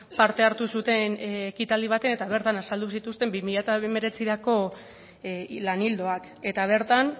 parte hartu zuten ekitaldi batean eta bertan azaldu zituzten bi mila hemeretzirako lan ildoak eta bertan